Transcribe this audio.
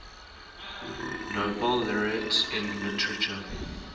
nobel laureates in literature